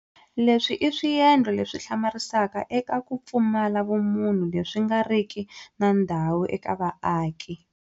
Leswi i swiendlo leswi hlamarisaka eka ku pfumala vumunhu leswi nga riki na ndhawu eka vaaki.